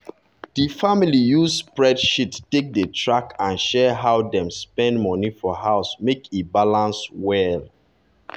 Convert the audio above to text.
di family use spreadsheet take dey track and share how dem dey spend money for house make e balance well.